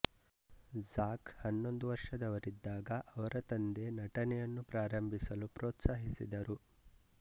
Zac ಹನ್ನೊಂದು ವರ್ಷದವರಿದ್ದಾಗ ಅವರ ತಂದೆ ನಟನೆಯನ್ನು ಪ್ರಾರ್ಂಬಿಸಲು ಪ್ರೋತ್ಸಾಹಿಸಿದರು